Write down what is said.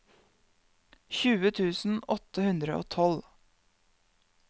tjue tusen åtte hundre og tolv